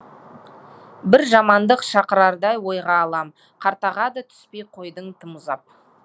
бір жамандық шақырардай ойға алам қартаға да түспей қойдың тым ұзап